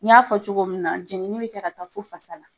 Ni y'a fɔ cogo min na jɛnini bɛ ta ka taa fo fasa la